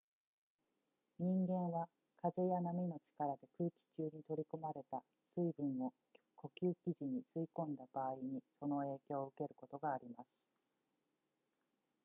人間は風や波の力で空気中に取り込まれた水分を呼吸時に吸い込んだ場合にその影響を受けることがあります